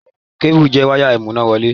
Kébù jẹ́ wáyà ìmúnáwọlé.